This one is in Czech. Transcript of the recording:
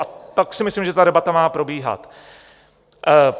A tak si myslím, že ta debata má probíhat.